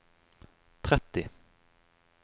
tretti